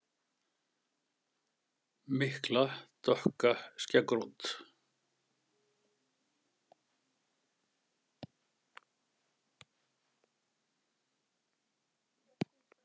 Mikla dökka skeggrót.